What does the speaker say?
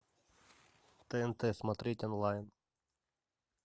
тнт смотреть онлайн